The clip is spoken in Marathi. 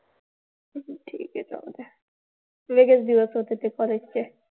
ठीक आहे. चालतंय. वेगळेच दिवस होते ते